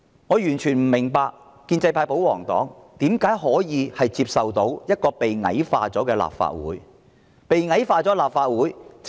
我完全不能明白建制派、保皇黨如何能夠接受一個被矮化的立法會，這只會令市民大眾......